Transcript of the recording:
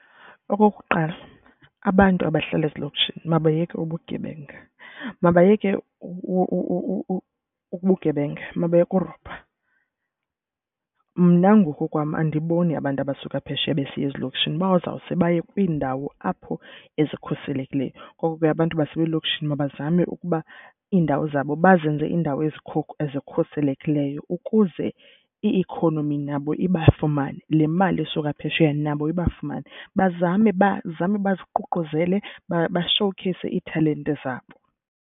Okokuqala abantu abahlala ezilokishini mabayeke ubugebenga. Mabayeke ubugebenga, mabayeke urobha. Mna ngokokwam andiboni abantu abasuka phesheya besiya ezilokishini, bazawuse baye kwiindawo apho ezikhuselekileyo. Ngoko ke abantu baselokishini mabazame ukuba indawo zabo bazenze indawo ezikhuselekileyo ukuze i-ikhonomi nabo ibafumane, le mali isuka phesheya nabo ibafumane. Bazame bazame baziququzele, bashowukheyise iithalente zabo.